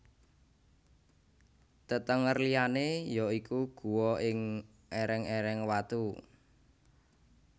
Tetenger liyané ya iku guwa ing èrèng èreng watu